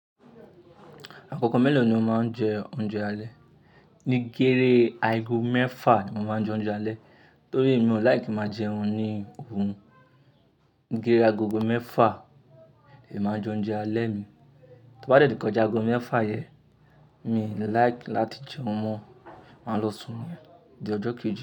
Àkókò mélòó ni o máa ń jẹ oúnjẹ alẹ́? Ní gére aago mẹ́fà ni mo máa ń jẹ oúnjẹ alẹ́ torí mi ò like ki máa jẹun ní òru. Gére agogo mẹ́fà ni màá jẹ oúnjẹ alẹ́ mi. Tó bá dẹ̀ ti kọjá agogo mẹ́fà yẹn mi ò like láti jẹun mọ, màá lọ sùn ni, di ọjọ́ kejì.